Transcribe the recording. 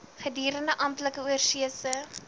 gedurende amptelike oorsese